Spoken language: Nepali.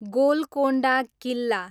गोलकोण्डा किल्ला